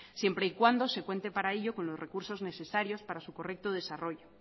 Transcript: siempre y cuando se cuente para ello con los recursos necesarios para su correcto desarrollo